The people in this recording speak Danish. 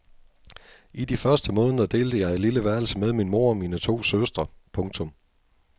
I de første måneder delte jeg et lille værelse med min mor og mine to søstre. punktum